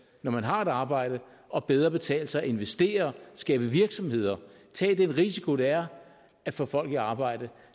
når man har et arbejde og bedre betale sig at investere skabe virksomheder tage den risiko det er at få folk i arbejde